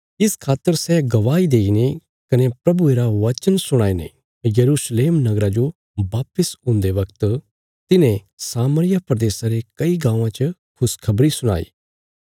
इस खातर सै गवाही देईने कने प्रभुये रा वचन सुणाईने यरूशलेम नगरा जो वापस हुन्दे वगत तिन्हें सामरिया प्रदेशा रे कई गाँवां च खुशखबरी सुणाई